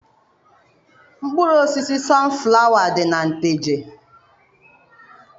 Mkpụrụ osisi sọnflawa dị na Nteje.